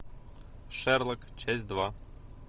шерлок часть два